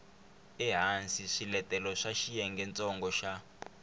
ehansi swiletelo swa xiyengentsongo xa